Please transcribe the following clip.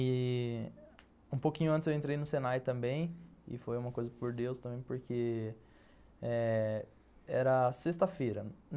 E um pouquinho antes eu entrei no Senai também, e foi uma coisa por Deus também, porque eh... era sexta-feira.